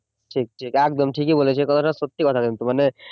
ঠিক ঠিক একদম ঠিকই বলেছে এ কথাটা সত্যি কথা কিন্তু মানে